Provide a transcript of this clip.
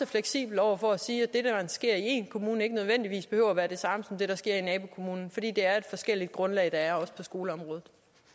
fleksibel over for at sige at det der sker i én kommune ikke nødvendigvis behøver at være det samme som det der sker i nabokommunen fordi der er et forskelligt grundlag også på skoleområdet